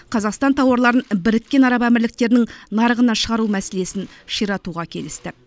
қазақстан тауарларын біріккен араб әмірліктерінің нарығына шығару мәселесін ширатуға келісті